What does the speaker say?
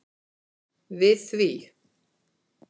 við því.